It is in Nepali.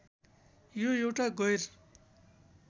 यो एउटा गैर